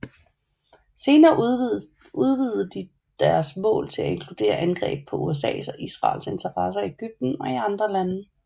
Senere udvidede de deres mål til at inkludere angreb på USAs og Israels interesser i Egypten og i andre lande